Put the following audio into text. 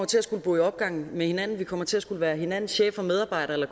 til at skulle bo i opgang med hinanden vi kommer til at skulle være hinandens chefer medarbejdere